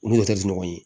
Olu tɛ di ɲɔgɔn ye